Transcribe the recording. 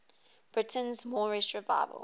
britain's moorish revival